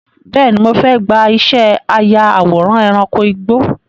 Bẹ́ẹ̀ni, mo fẹ́ gbà ìṣẹ́ aya àwòrán ẹranko igbó.